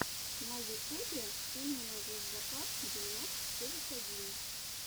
на ютубе ты мне найдешь закат девяносто девять один